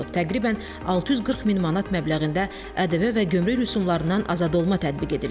Təqribən 640 min manat məbləğində ƏDV və gömrük rüsumlarından azadolma tətbiq edilib.